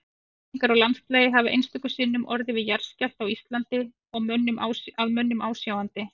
Breytingar á landslagi hafa einstöku sinnum orðið við jarðskjálfta á Íslandi að mönnum ásjáandi.